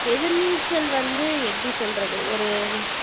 எதிர்நீச்சல் வந்து எப்படி சொல்றது ஒரு